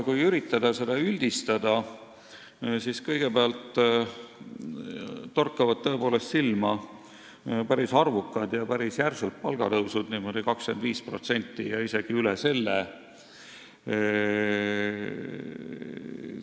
Kui üritada üldistada, siis kõigepealt torkavad tõepoolest silma päris arvukad ja päris järsud palgatõusud – 25% ja isegi üle selle.